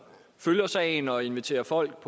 følger sagen og inviterer folk